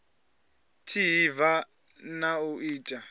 tsha hiv na u tshi